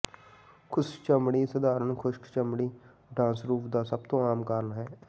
ਖੁਸ਼ਕ ਚਮੜੀ ਸਧਾਰਣ ਖੁਸ਼ਕ ਚਮੜੀ ਡਾਂਸਰੂਫ਼ ਦਾ ਸਭ ਤੋਂ ਆਮ ਕਾਰਨ ਹੈ